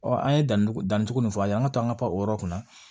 an ye danni danni k'u fɔ a ye an ka to an ka payɔrɔ kɔnɔ